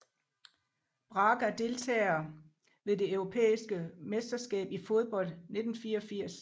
Braga Deltagere ved det europæiske mesterskab i fodbold 1984